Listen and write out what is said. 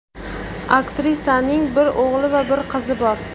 Aktrisaning bir o‘g‘li va bir qizi bor.